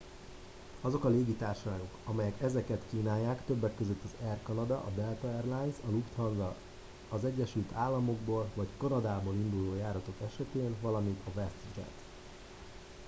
azok a légitársaságok amelyek ezeket kínálják többek között az air canada a delta air lines a lufthansa az egyesült államokból vagy kanadából induló járatok esetén valamint a westjet